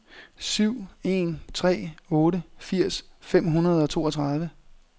syv en tre otte firs fem hundrede og toogtredive